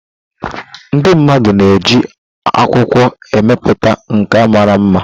Ndị mmadụ na eji akwụkwọ emepụta nkà mara mma.